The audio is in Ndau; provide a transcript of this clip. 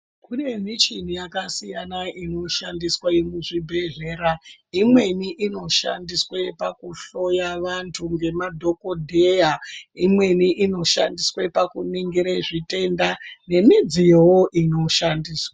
Kune mishini yakasiyana inoshandiswa iri muzvibhedhlera imweni inoshandiswa pakuhloya vantu ngemadhokodheya, imweni inoshandiswawo pakuningire zvitenda nemidziyowo inoshandiswa.